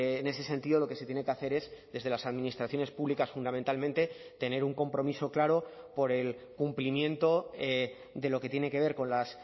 en ese sentido lo que se tiene que hacer es desde las administraciones públicas fundamentalmente tener un compromiso claro por el cumplimiento de lo que tiene que ver con las